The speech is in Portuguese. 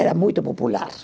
Era muito popular.